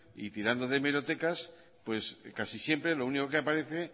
y tirando de hemerotecas casi siempre lo único que aparece